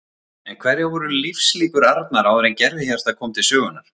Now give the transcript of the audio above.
En hverjar voru lífslíkur Arnar áður en gervihjartað kom til sögunnar?